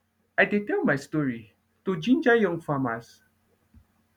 i dey tell my story to ginger young farmers